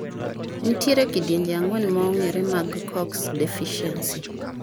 Nitiere kidienje ang'wen ma ong'ere mag COX deficiency.